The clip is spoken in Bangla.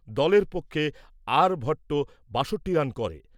দলের পক্ষে আর ভট্ট বাষট্টি রান করে।